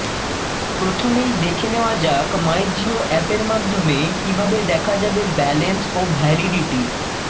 প্রথমেই দেখে নেওয়া যাক মাই জিও অ্যাপের মাধ্যমে কীভাবে দেখা যাবে ব্যালেন্স ও ভ্যালিডিটি